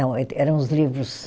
Não, eram os livros.